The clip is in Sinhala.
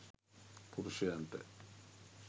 පුරුෂයන්ට